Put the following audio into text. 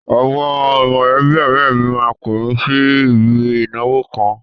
Àwọn mọ̀lẹ́bí ọ̀rẹ́ mi máa pè mi sí ibi ìnáwó kan.